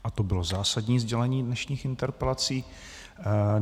A to bylo zásadní sdělení dnešních interpelací.